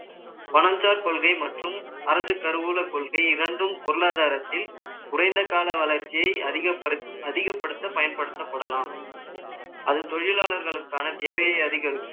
பனஞ்சார் கொள்கை மற்றும் அரசு கருவூல கொள்கை இரண்டும் பொருளாதாரத்தில் குறைந்த கால வளர்ச்சியை அதிகப்படுத்த பயன்படுத்தப்படலாம் அது தொழிலாளர்களுக்கான தேவையை அதிகரிக்கும்